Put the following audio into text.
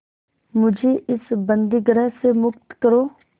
मुझे इस बंदीगृह से मुक्त करो